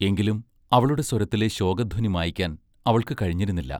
എങ്കിലും അവളുടെ സ്വരത്തിലെ ശോകധ്വനി മായ്ക്കാൻ അവൾക്ക് കഴിഞ്ഞിരുന്നില്ല.